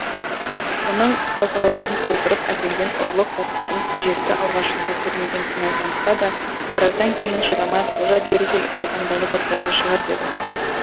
оның қалталарын толтырып әкелген ұрлық заттарын әжесі алғашында көрмеген сыңай танытса да біраздан кейін шыдамай қожа бері кел қалтаңдағы заттарды шығар деді